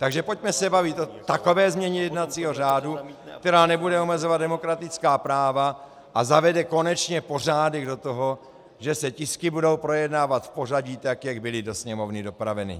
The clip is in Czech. Takže pojďme se bavit o takové změně jednacího řádu, která nebude omezovat demokratická práva a zavede konečně pořádek do toho, že se tisky budou projednávat v pořadí tak, jak byly do Sněmovny dopraveny.